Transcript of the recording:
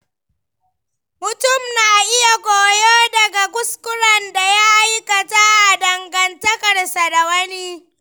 Mutum na iya koyo daga kuskuren da ya aikata a dangantakarsa da wani.